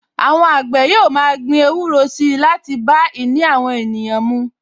Àwọn àgbẹ̀ yóò ma gbin ewúro si láti bá ìní àwọn ènìyàn mú